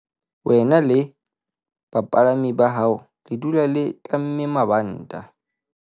Wena le bapalami ba hao le dula le tlamme mabanta.